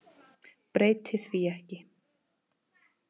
Breyti því ekki.